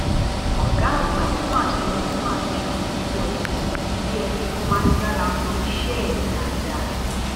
ọgá àgbà fún àjọ rstma ti ṣàpèjúwe ọkùnrin yìí bíi ẹni tó máa ń jára mọ iṣẹ ẹ dáadáa